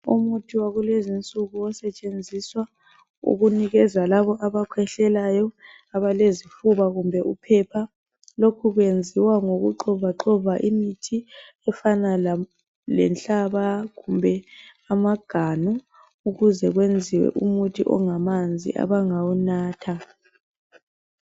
Umuthi wakulezinsuku osetshenziswa ukunikeza labo abakhwehlelayo abalezifuba kumbe uphepha lokhu kweziwa ngokuxovaxova imithi efana lenhlaba kumbe amaganu ukuze kwenziwe umuthi ongamanzi abangawunatha.